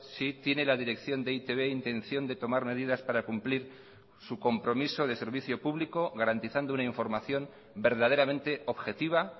si tiene la dirección de e i te be intención de tomar medidas para cumplir su compromiso de servicio público garantizando una información verdaderamente objetiva